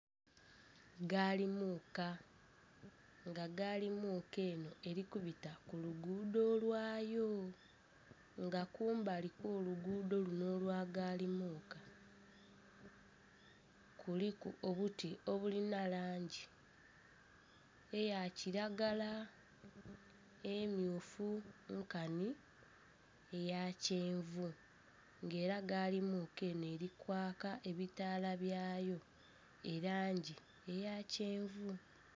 Gaali muka nga gaali muka eno eri kubita kuluguudo lwayo nga kumbali luguudo luno olwa gaali muka kuliku obuti obulina langi eya kiragala, emmyufu nkani eya kyenvu nga era gaali muka eno eri kwaaka ebitala byayo erangi eya kyenvu.